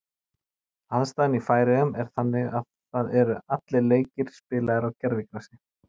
Aðstaðan í Færeyjum er þannig að það eru allir leikir spilaðir gervigrasi.